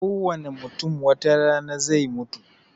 Kowane mutum watarana zai mutu